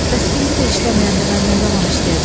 Bəs indi də işləməyəndə mən nə zaman işləyəcəm?